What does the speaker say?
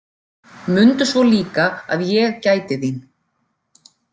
Mundu svo líka að ég gæti þín.